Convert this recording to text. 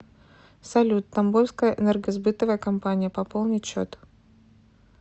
салют тамбовская энергосбытовая компания пополнить счет